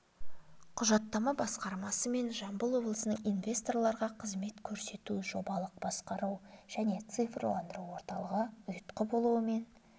құжаттама басқармасы мен жамбыл облысының инсвесторларға қызмет көрсету жобалық басқару және цифрландыру орталығы ұйытқы болуымен